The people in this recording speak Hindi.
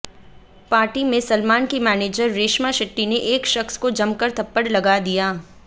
पार्टी में सलमान की मैनेजर रेशमा शेट्टी ने एक शख्स को जमकर थप्पड़ लगा दिया